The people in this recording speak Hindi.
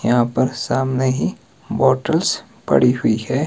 यहां पर सामने ही बॉटल्स पड़ी हुई है।